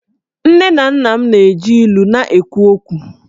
Nne na nna m na-eji ilu na-ekwu okwu